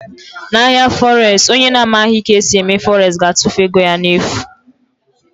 Na ahịa fọres, onye na amaghị ka esi eme fọres ga-atụfu ego ya n'efu.